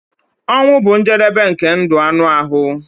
Ọnwụ bụ njedebe nke ndụ anụ ahụ.